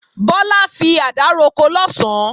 Bọ́lá fi àdá roko lọ̀sán